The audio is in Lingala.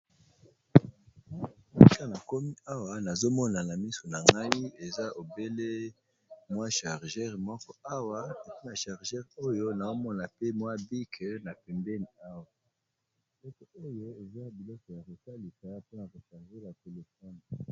Esika na komi awa nazo mona na miso na ngai eza obele mwa chargeur moko awa, epui na chargeur oyo nao mona pe mwa bic na pembeni awa eloko oyo eza biloko ya ko salisa mpona ko charger ba telephone.